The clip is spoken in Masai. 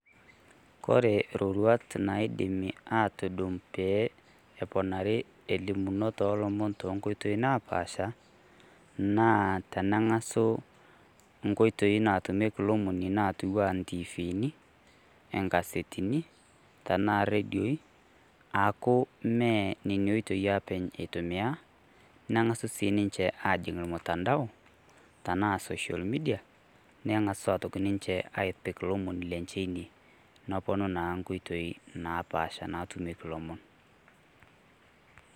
Kore iroruat naidimie aatudum pee eponari elimunot oolomon too Nkoitoi napaasha naa teneng'asu inkotoi naatumieki olomoni naing'uaa intiivini, engaseteni tenaa irredioi aaku mmee Nena oitoi apa eitumiya neng'asu sii niche aajing' ormutantao tenaa social Media neng'as sii ninche aapik olomoni lenche ine naponu naa inkotoi napaasha naatumieki ilomon.